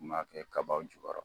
N kun b'a kɛ kabaw jukɔrɔ